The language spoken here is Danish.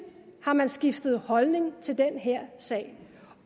har man skiftet holdning til den her sag